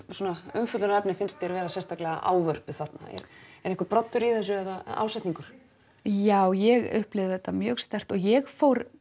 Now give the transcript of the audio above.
umfjöllunarefni finnst þér vera sérstaklega ávörpuð þarna er einhver broddur í þessu eða ásetningur já ég upplifði þetta mjög sterkt og ég